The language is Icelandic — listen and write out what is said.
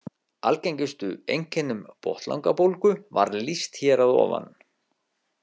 Algengustu einkennum botnlangabólgu var lýst hér að ofan.